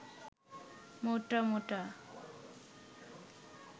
মোটা মোটা